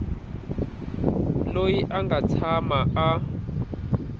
loyi a nga tshama a